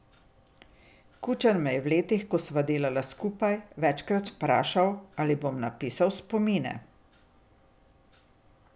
Kučan me je v letih, ko sva delala skupaj, večkrat vprašal, ali bom napisal spomine.